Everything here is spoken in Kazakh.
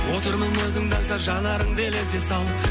отырмын өзіңді аңсап жанарыңды елеске салып